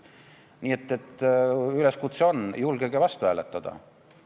Nii et üleskutse on: julgege vastu hääletada!